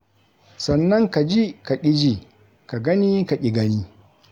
Sannan ka ji, ka ƙi ji, ka gani, ka ƙi gani.